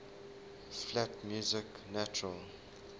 flat music natural